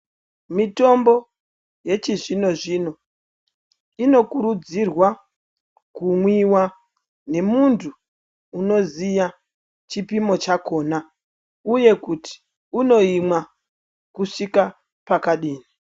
Mitombo yechi zvino zvino ino kurudzirwa ku mwiwa ne muntu unoziya chipimo chakona uye kuti uno imwa kusvika pakadini.